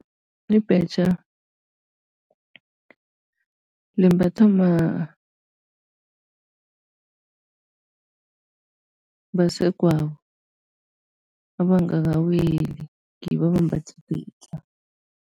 Ibhetja limbathwa basegwabo abangakaweli, ngibo abambatha